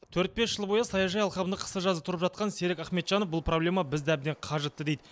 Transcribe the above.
төрт бес жыл бойы саяжай алқабында қысы жазы тұрып жатқан серік ахметжанов бұл проблема бізді әбден қажытты дейді